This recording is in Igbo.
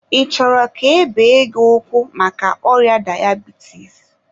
ị chọrọ ka e bee gị ụkwụ maka ọrịa dayabitis?